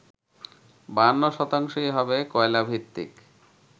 ৫২ শতাংশই হবে কয়লাভিত্তিক